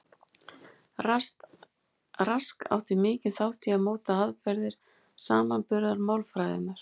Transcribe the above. Rask átti mikinn þátt í að móta aðferðir samanburðarmálfræðinnar.